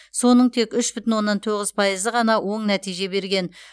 соның тек үш бүтін оннан тоғыз пайызы ғана оң нәтиже берген